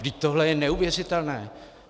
Vždyť tohle je neuvěřitelné!